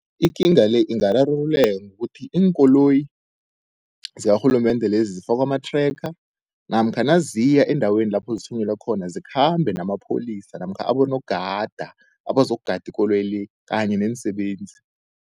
Ikinga le ingararululeka ngokuthi, iinkoloyi zikarhulumende lezi zifakwe ama-tracker namkha naziya endaweni lapho zithunyelwe khona, zikhambe namapholisa namkha abonogada, abazokugada ikoloyi le kanye neensebenzi.